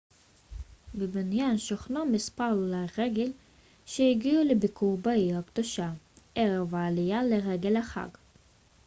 בבניין שוכנו מספר עולי רגל שהגיעו לביקור בעיר הקדושה ערב העלייה לרגל החאג'